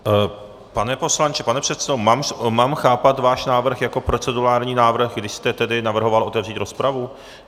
Pane poslanče, pane předsedo, mám chápat váš návrh jako procedurální návrh, kdy jste tedy navrhoval otevřít rozpravu?